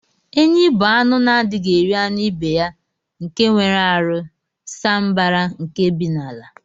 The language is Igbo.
Enyi bu anụ na adighi eri anụ ibeya nke nwere arụ saa mbara nke bi n'ala.